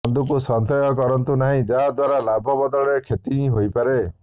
ବନ୍ଧୁକୁ ସନ୍ଦେହ କରନ୍ତୁ ନାହିଁ ଯାହା ଦ୍ୱାରା ଲାଭ ବଦଳରେ କ୍ଷତି ହିଁ ହୋଇପାରେ